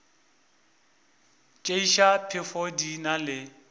tšeiša phefo di na le